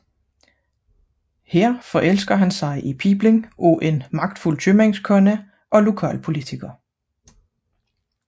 Her forelsker han sig i datteren af en magtfuld købmandskone og lokalpolitiker